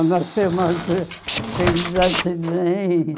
nasceu mais filhos antes de mim.